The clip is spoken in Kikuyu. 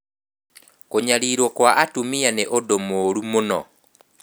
Kũnyariirwo kwa atumia nĩ ũndũ mũũru mũno.